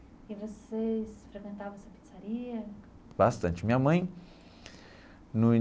E vocês frequentavam essa pizzaria? Bastante, minha mãe no.